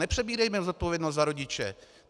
Nepřebírejme zodpovědnost za rodiče.